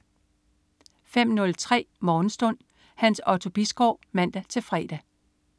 05.03 Morgenstund. Hans Otto Bisgaard (man-fre)